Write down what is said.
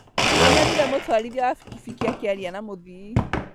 Nĩnyonire mũtwarithia wa bikibiki akĩaria na mũthii